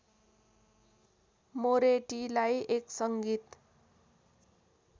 मोरेटीलाई एक सङ्गीत